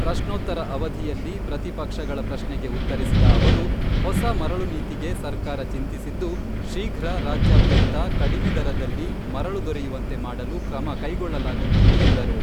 ಪ್ರಶ್ನೋತ್ತರ ಅವಧಿಯಲ್ಲಿ ಪ್ರತಿಪಕ್ಷಗಳ ಪ್ರಶ್ನೆಗೆ ಉತ್ತರಿಸಿದ ಅವರು, ಹೊಸ ಮರಳು ನೀತಿಗೆ ಸರ್ಕಾರ ಚಿಂತಿಸಿದ್ದು, ಶೀಘ್ರ ರಾಜ್ಯಾದ್ಯಂತ ಕಡಿಮೆ ದರದಲ್ಲಿ ಮರಳು ದೊರೆಯುವಂತೆ ಮಾಡಲು ಕ್ರಮ ಕೈಗೊಳ್ಳಲಾಗುತ್ತಿದೆ ಎಂದರು.